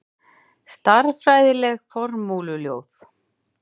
Stærðfræðileg formúluljóð.